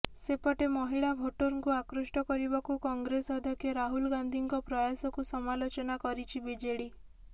ସେପଟେ ମହିଳା ଭୋଟରଙ୍କୁ ଆକୃଷ୍ଟ କରିବାକୁ କଂଗ୍ରେସ ଅଧ୍ୟକ୍ଷ ରାହୁଲ ଗାନ୍ଧୀଙ୍କ ପ୍ରୟାସକୁ ସମାଲୋଚନା କରିଛି ବିଜେଡି